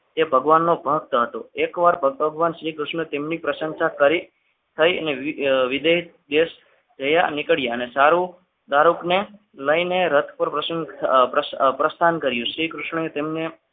હે ભગવાન નો ભક્ત હતો એકવાર ભગવાન શ્રીકૃષ્ણ તેમની પ્રશંસા કરી ગઈ અને વિદાય દેશ જવા નીકળ્યા અને સારું શાહરૂખને લઈને રથ પર પ્રસન્ન પ્રસ્થાન કર્યું શ્રીકૃષ્ણએ તેમણે